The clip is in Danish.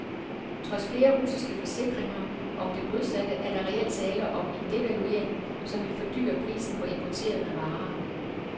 Trods flere russiske forsikringer om det modsatte er der reelt tale om en devaluering, som vil fordyre prisen på importerede varer.